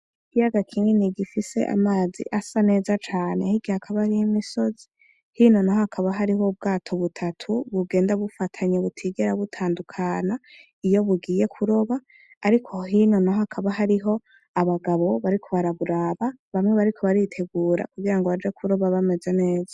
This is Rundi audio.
Ikiyaga gifise amazi asa neza cane, hirya hakaba hariho imisozi, hino naho hakaba hariho ubwato butatu bugenda bufatanye butigera butandukana iyo bugiye kuroba, ariko hino naho hakaba hariho abagabo bariko baraburaba, bamwe bariko baritegura kugira ngo baje kuroba bameze neza.